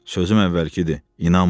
Sözüm əvvəlki deyil, inanmıram.